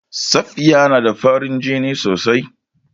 Safiya na da farin jini sosai.